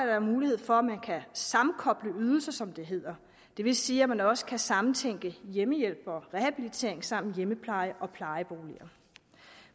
er mulighed for at kunne sammenkoble ydelser som det hedder det vil sige at man også kan sammentænke hjemmehjælp og rehabilitering samt hjemmepleje og plejeboliger